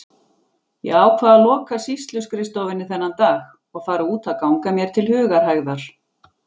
Ég ákvað að loka sýsluskrifstofunni þennan dag og fara út að ganga mér til hugarhægðar.